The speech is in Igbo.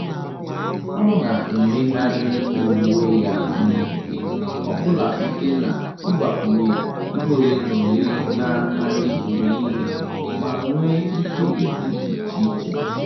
Ọ́ nà-èmégharị uwe ya n’ógè ọ bụla site n’ị́gbakwụnye ìhè ole na ole nà-adị́ mgbe nìile ma nwee ike ị́dị́ iche iche.